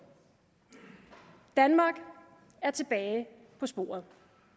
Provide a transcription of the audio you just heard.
danmark er tilbage på sporet